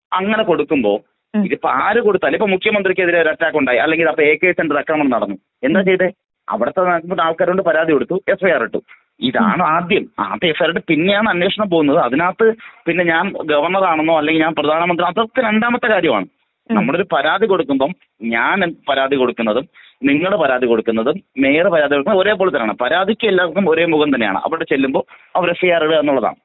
അങ്ങനെ കൊട്ക്കുമ്പൊ ഇതിപ്പോ ആര് കൊടുത്താലും ഇപ്പൊ മുഖ്യമന്ത്രി ക്കെതിരെ ഒരറ്റാക്ക് ഉണ്ടായി അല്ലെങ്കിൽ എംകെ സെന്റർ അക്രമണം നടന്നു . എന്തേ ചെയ്തേ? അവിടത്തെ ആൾക്കാര് പരാതി കൊടുത്തു എഫ്ഐആർ ഇട്ടു.ഇതാണ് ആദ്യം.ആദ്യം എഫ്ഐആർ ഇട്ട് പിന്നെയാണ് അന്വേഷണം പോവുന്നത്. അതിനകത്ത് പിന്നെ ഞാൻ ഗവർണറാണെന്നോ അല്ലെങ്കിൽ ഞാൻ പ്രധാനമന്ത്രി ആണെന്നോ അതൊക്കെ രണ്ടാമത്തെ കാര്യമാണ്.ഞമ്മളൊരു പരാതി കൊടുക്കുമ്പൊ ഞാൻ പരാതി കൊടുക്കുന്നതും നിങ്ങള് പരാതികൊടുക്കുന്നതും മേയര്‍ പരാതി കൊടുക്കുന്നതും ഒരേപോലെ തന്നെയാണ് പരാതിക്കെല്ലാർക്കും ഒരേ മുഖം തന്നെയാണ്.അവര് എഫ്ഐആർ എഴുതാ എന്നുള്ളതാണ്.